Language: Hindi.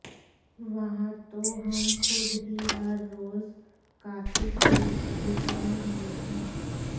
वहां तो हम ख़ुद ही हर रोज़ कातिक के बैल बने हुए हैं